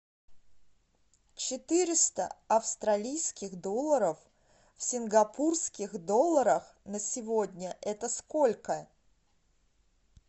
четыреста австралийских долларов в сингапурских долларах на сегодня это сколько